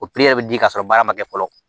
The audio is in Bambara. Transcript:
O bɛ di ka sɔrɔ baara ma kɛ fɔlɔ